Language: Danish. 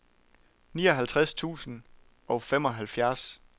nioghalvtreds tusind og femoghalvfjerds